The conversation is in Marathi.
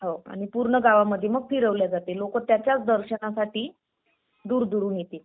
हो आणि पूर्ण गावामध्ये मग फिरवला जाते. लोक त्याच्याच दर्शनासाठी दुरदुरून येते